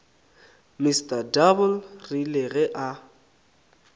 mr double rile ge a